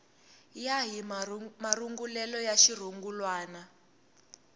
ya hi marungulelo ya xirungulwana